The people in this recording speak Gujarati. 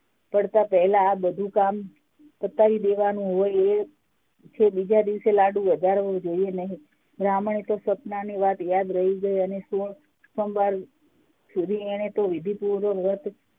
પડતા પહેલા આ બધું કામ પતાઈ દેવાની એ બીજા દિવસ એ લાડુ વધારવો જોઈએ નહિ બ્રાહ્મણી ને આસપનાની વાત યાદ રહી ગઈ અને સોમવાર સુસુધી એને વિધિપૂર્વક વ્રત